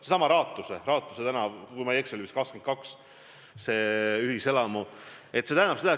Seesama ühiselamu Raatuse tänaval, maja 22, kui ma ei eksi.